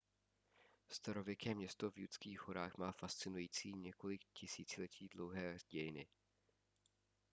starověké město v judských horách má fascinující několik tisíciletí dlouhé dějiny